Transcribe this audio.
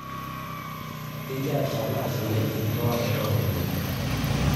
Ketia rishata itasheyieki enkirriwaroto ooropiyiani?